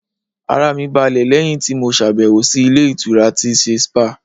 Ara mi balẹ̀ lẹ́yìn tí mo ṣàbẹ̀wò sí ilé ìtura tí ń ṣe spáà.